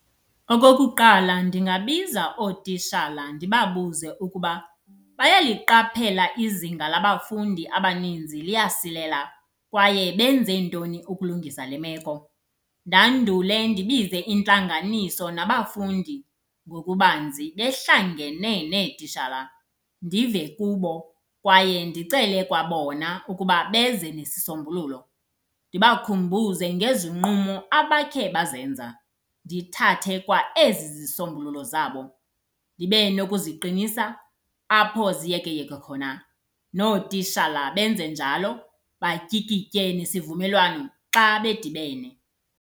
Okokuqala, ndingabiza ootishala ndibabuze ukuba bayayiqaphela izinga labafundi abaninzi liyasilela, kwaye benze ntoni ukulungisa le meko. Ndandule ndibize intlanganiso nabafundi ngokubanzi behlangene neetishala ndive kubo, kwaye ndicele kwabona ukuba beze nesisombululo. Ndibakhumbuze ngezinqumo abakhe bazenza, ndithathe kwa ezi zisombululo zabo ndibe nokuziqinisa apho ziyekeyeke khona. Nootishala benze njalo batyikitye isivumelwano xa bedibene.